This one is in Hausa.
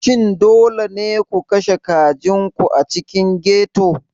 Shin dole ne ku kashe kajin ku a cikin ghetto?